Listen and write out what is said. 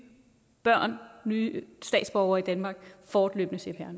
børn og nye statsborgere i danmark fortløbende cpr